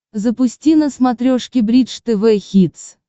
запусти на смотрешке бридж тв хитс